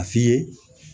A fiyɛ